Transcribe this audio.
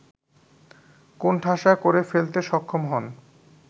কোণঠাসা করে ফেলতে সক্ষম হন